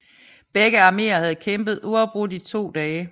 Begge armeer havde kæmpet uafbrudt i to dage